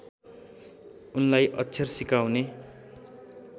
उनलाई अक्षर सिकाउने